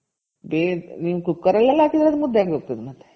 ನೀವು ಕುಕ್ಕರಲ್ಲೆಲ್ಲ ಹಾಕದ್ರೆ ಅದು ಮುದ್ದೆ ಆಗೋಗ್ತದೆ